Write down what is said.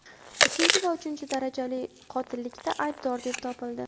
ikkinchi va uchinchi darajali qotillikda aybdor deb topildi.